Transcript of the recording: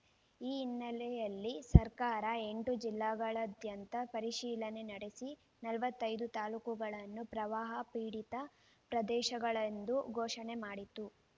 ಈ ಹಿನ್ನೆಲೆಯಲ್ಲಿ ಸರ್ಕಾರ ಎಂಟು ಜಿಲ್ಲೆಗಳಾದ್ಯಂತ ಪರಿಶೀಲನೆ ನಡೆಸಿ ನಲವತ್ತೈದು ತಾಲ್ಲೂಕುಗಳನ್ನು ಪ್ರವಾಹ ಪೀಡಿತ ಪ್ರದೇಶಗಳೆಂದು ಘೋಷಣೆ ಮಾಡಿತ್ತು